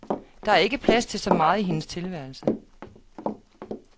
Der er ikke plads til så meget i hendes tilværelse.